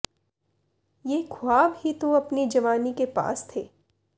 ਯੇ ਖ਼੍ਵਾਬ ਹੀ ਤੋ ਅਪਨੀ ਜਵਾਨੀ ਕੇ ਪਾਸ ਥੇ